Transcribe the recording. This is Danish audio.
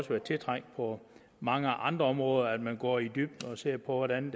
være tiltrængt på mange andre områder at man går i dybden og ser på hvordan